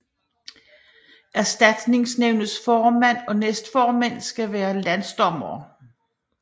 Erstatningsnævnets formand og næstformænd skal være landsdommere